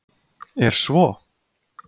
Er svo?